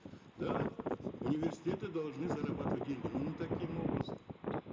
да университеты должны зарабатывать деньги но не таким образом